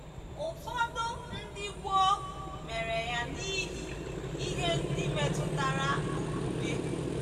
Ụfọdụ ndị gboo mere ya n’ihi ihe ndị metụtara okpukpe.